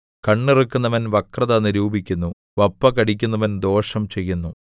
കണ്ണിറുക്കുന്നവൻ വക്രത നിരൂപിക്കുന്നു വപ്പ് കടിക്കുന്നവൻ ദോഷം ചെയ്യുന്നു